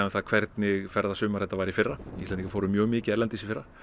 hvernig ferðasumar þetta var í fyrra Íslendingar fóru mjög mikið erlendis í fyrra